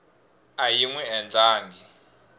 a yi n wi endlangi